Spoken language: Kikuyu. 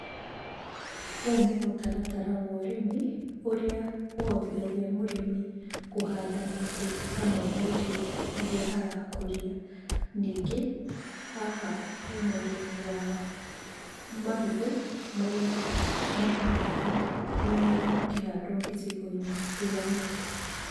Ũyũ nĩ mũtaratara wa ũrimi ũrĩa ũhotithagia mũrĩmi kũhanda mĩtĩ hamwe na irio irĩa arakũria. Ningĩ, haha hena ũrĩmi wa marigũ marĩa makoragwo makĩhandwo icigo-inĩ itiganĩte.